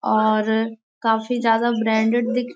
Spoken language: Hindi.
और काफ़ी ज्यादा ब्रांडेड दिख --